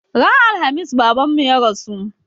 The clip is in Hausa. Ran Alhamis Babanmu ya rasu.